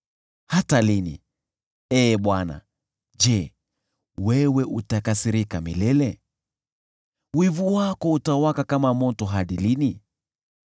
Hata lini, Ee Bwana ? Je, wewe utakasirika milele? Wivu wako utawaka kama moto hadi lini?